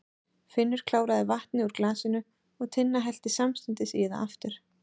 Finnur kláraði vatnið úr glasinu og Tinna hellti samstundis í það aftur.